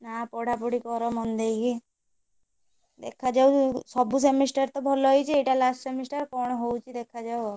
ନା ପଢାପଢି କର ମନଦେଇକି ଦେଖାଯାଉ ସବୁ semester ତ ଭଲହେଇଛି ଏଇଟା last semester କଣ ହଉଛି ଦେଖାଯାଉ ଆଉ।